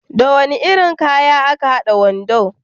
Da wani irin kaya aka hada wando?